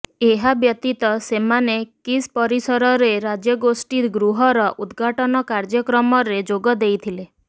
ଏହା ବ୍ୟତୀତ ସେମାନେ କିସ୍ ପରିସରରେ ରାଜ୍ୟଗୋଷ୍ଠୀ ଗୃହର ଉଦ୍ଘାଟନ କାର୍ଯ୍ୟକ୍ରମରେ ଯୋଗ ଦେଇଥିଲେ